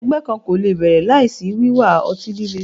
Ẹgbẹ kan ko le bẹrẹ laisi wiwa ọti-lile